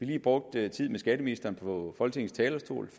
lige brugt tiden med skatteministeren på folketingets talerstol